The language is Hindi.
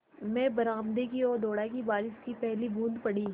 मैं बरामदे की ओर दौड़ा कि बारिश की पहली बूँद पड़ी